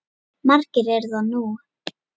Margir eru það nú.